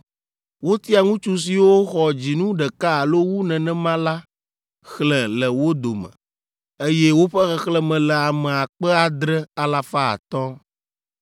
Wotia ŋutsu siwo xɔ dzinu ɖeka alo wu nenema la xlẽ le wo dome, eye woƒe xexlẽme le ame akpe adre, alafa atɔ̃ (7,500).